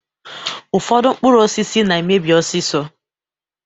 Ụfọdụ mkpụrụ osisi na-emebi ọsịsọ